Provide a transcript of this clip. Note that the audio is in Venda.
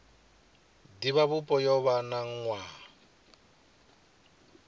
divhavhupo yo vha na nwaha